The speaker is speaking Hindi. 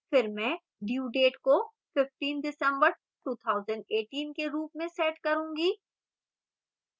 फिर मैं due date को 15 dec 2018 के रूप में set करूँगी